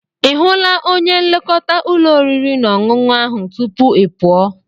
Ị hụla onye nlekọta ụlọ oriri na ọṅụṅụ ahụ tupu ị pụọ?